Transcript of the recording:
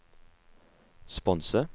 sponse